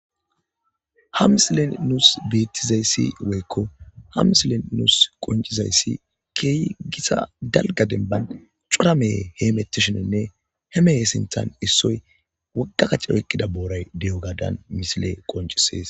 Hamsilen nuus beettizayssi weykko hamsilen nuus qoncizayssi keeyi gisa dalga demban cura meye heemettishinonne he meye sinthan issoy woggakacc oykkida booray deyo gadan misile qoncisees